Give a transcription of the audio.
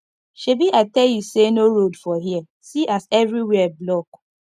shebi i tell you say no road for here see as everywhere block